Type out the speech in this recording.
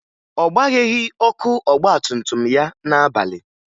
Ọ gbagheghi ọkụ ọgbatumtum ya n'abalị